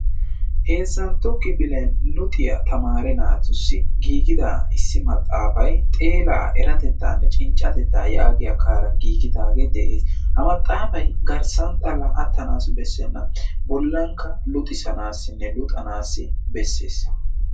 Heezantto kifilen luxiya tamaare naatussi giigida issi maxaafay xeelaa eratetaanne cinccatetaa yaagiya kaaran giigidaagee de"es. Ha maxxaafay garssan xalla attanaassi bessenna. Bollankka luxisanaassinne luxanaassi bessees.